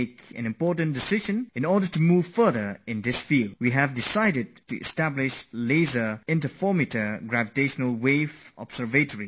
To gain more success about this discovery, the Government of India has decided to install a Laser Interferometer GravitationalWave Observatory, in short it is called LIGO, here in India